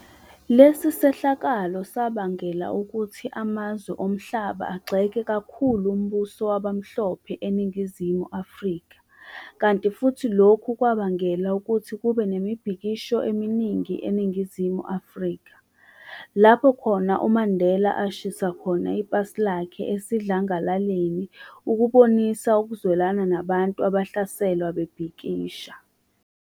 Lesi sehlakalo sabangela ukuthi amazwe omhlaba agxeke kakhulu umbuso wawamhlophe eNingizimu Afrika, kanti futhi lokhu kwabangela ukuthi kube nemibhikisho eminingi eNingizimu Afrika, lapho khona uMandela ashisa khona ipasi lakhe esidlangalaleni ukubonisa ukuzwelana nabantu abahlaselwa bebhikisha.